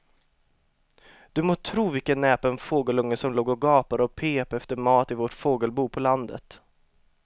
Du må tro vilken näpen fågelunge som låg och gapade och pep efter mat i vårt fågelbo på landet.